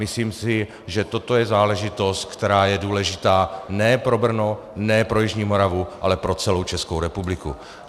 Myslím si, že toto je záležitost, která je důležitá ne pro Brno, ne pro jižní Moravu, ale pro celou Českou republiku.